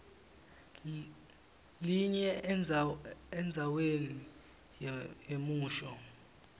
linye endzaweni yemusho